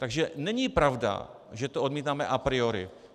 Takže není pravda, že to odmítáme a priori.